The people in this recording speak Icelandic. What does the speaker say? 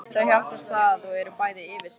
Þau hjálpast að og eru bæði yfirsmiðir.